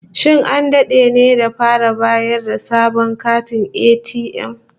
Shin an dade ne da fara bayar da sabon katin ATM?